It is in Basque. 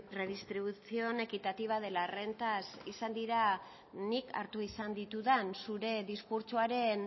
redistribución equitativa de las rentas izan dira nik hartu izan ditudan zure diskurtsoaren